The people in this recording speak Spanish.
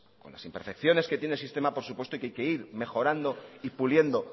con las imperfecciones que tiene el sistema por supuesto y que hay que ir mejorando y puliendo